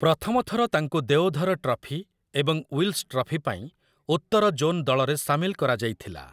ପ୍ରଥମ ଥର ତାଙ୍କୁ ଦେଓଧର ଟ୍ରଫି ଏବଂ ୱିଲ୍ସ ଟ୍ରଫି ପାଇଁ ଉତ୍ତର ଜୋନ୍ ଦଳରେ ସାମିଲ କରାଯାଇଥିଲା ।